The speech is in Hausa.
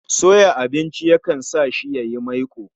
Soya abinci ya kan sa shi yayi maiko